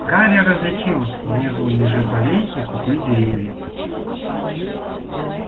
гарри различил внизу межи полей и купы деревьев